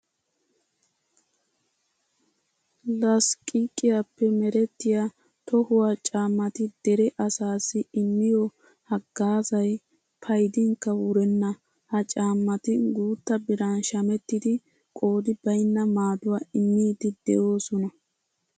Lasqqiqiyappe merettiya tohuwa caammati dere asaassi immiyo haggaazay paydinkka wurenna. Ha caammati guutta biran shamettidi qoodi baynna maaduwa immiiddi de'oosona.